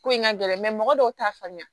Ko in ka gɛlɛn mɔgɔ dɔw t'a faamuya